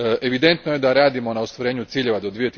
Evidentno je da radimo na ostvarenju ciljeva do